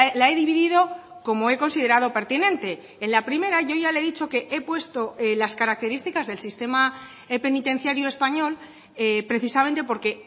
la he dividido como he considerado pertinente en la primera yo ya le he dicho que he puesto las características del sistema penitenciario español precisamente porque